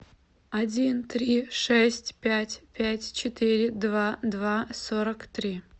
один три шесть пять пять четыре два два сорок три